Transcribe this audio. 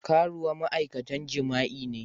Karuwa ma'aikatan jima'i ne.